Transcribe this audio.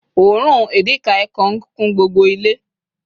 òórùn edikaikong kún gbogbo ile